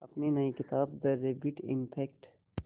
अपनी नई किताब द रैबिट इफ़ेक्ट